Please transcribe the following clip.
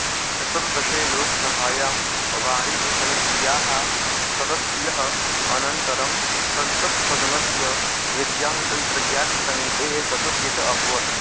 चतुर्दशे लोकसभायां वाणिज्यसमित्याः सदस्यः अनन्तरं संसत्सदनस्य विज्ञानतन्त्रज्ञास्य समितेः सदस्यः च अभवत्